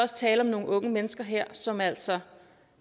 tale om nogle unge mennesker her som altså